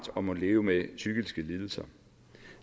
og må leve med psykiske lidelser